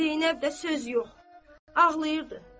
Zeynəb də söz yox, ağlayırdı.